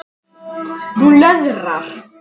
Hún löðrar.